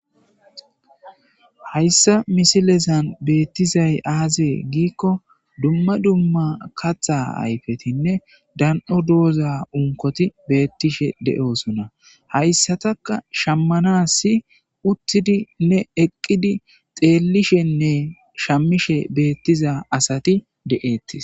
Hayssa misilezan beettizay aazee giikko dumma dumma katha ayfetinne dan'o dooza unkoti beettishe de'oosona hayssataka shammana si uttidi ne eqqidi xeellishenne shamishe beettiza asati de'ettis